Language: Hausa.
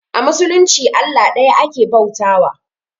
A musulunci Allah ɗaya ake bauta wa